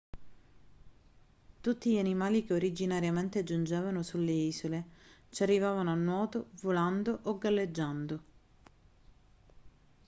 tutti gli animali che originariamente giungevano sulle isole ci arrivavano a nuoto volando o galleggiando